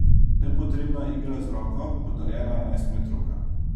Nepotrebna igra z roko, podarjena enajstmetrovka.